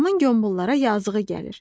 Adamın qombollara yazığı gəlir.